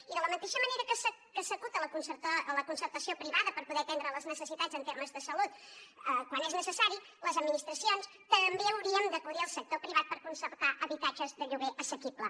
i de la mateixa manera que s’acut a la concertació privada per poder atendre les necessitats en termes de salut quan és necessari les administracions també hauríem d’acudir al sector privat per concertar habitatges de lloguer assequible